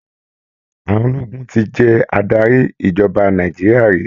Àwọn ológun ti jẹ adarí ìjọba Nàìjíríà rí.